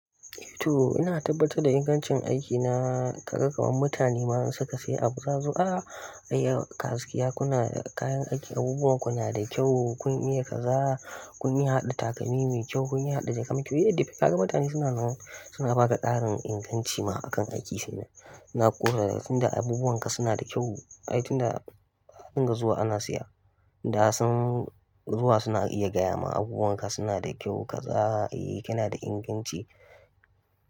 Eh to ina tabbatar da ingancin aikina, kaga kaman mutane ma suka sai abu za zo, e gaskiya kuna da kayan aiki abubuwan ku na da kyau, kun iya kaza, kun iya haɗa takalmi mai kyau, kun iya haɗa jaka mai kyau, kaga mutane suna zuwa suna ba ka ƙarin inganci ma akan aiki shine. Na kusa tunda abubuwan ka suna da kyau, ai tunda ka dinga zuwa ana siya, tunda har suna zuwa suna iya gaya ma abubuwan ka suna da kyau kaza, eh kana da inganci.